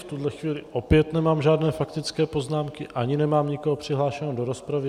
V tuhle chvíli opět nemám žádné faktické poznámky, ani nemám nikoho přihlášeného do rozpravy.